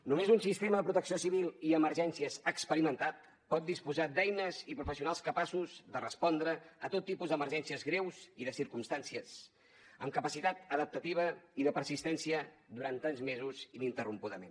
només un sistema de protecció civil i emergències experimentat pot disposar d’eines i professionals capaços de respondre a tot tipus de emergències greus i de circumstàncies amb capacitat adaptativa i de persistència durant tants mesos ininterrompudament